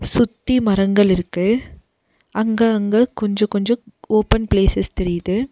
சுத்தி மரங்கள் இருக்கு அங்க அங்க கொஞ்சோ கொஞ்சோ ஓபன் ப்ளேஸ்சஸ் தெரியிது.